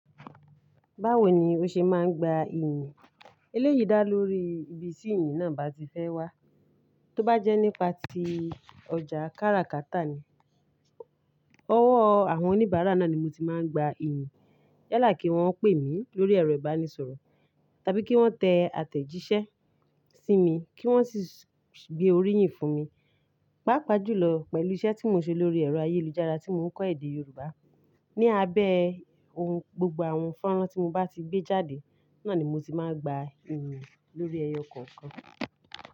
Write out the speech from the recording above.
Báwo ni o ṣe máa ń gba iyìn? Eléyìí dá lórí ibi tí iyìn náà bá ti fẹ́ wá. Tóbá jẹ́ nípa ti ọjà kára kátà ni, ọwọ́ àwọn oníbàárà náà ni mo ti máa ń gba iyìn. Yala kí wọ́n pè mí lórí ẹ̀rọ ìbánisọ̀rọ̀ tàbí kí wọ́n tẹ àtẹ̀jíṣẹ́ sí mi kí wọ́n sì gbé orí yìí fún mi. Pápá jù lọ, pẹ̀lú iṣẹ́ tí mo ṣe lórí ẹ̀rọ ayélujára tí mò ń kọ́ èdè Yorùbá. Ni abẹ́ ohun, gbogbo àwọn fọ́nrán tí mo bá ti gbé jáde, náà ni mo ti máa ń gba iyì lórí ẹyọ kọ̀ọ̀kan.